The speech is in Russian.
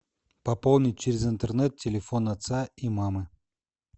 пополнить через интернет телефон отца и мамы